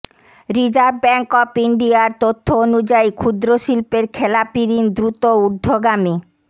reserve bank of ইন্ডিয়ার তথ্য অনুযায়ী ক্ষুদ্র শিল্পের খেলাপি ঋণ দ্রুত ঊর্ধ্বগামী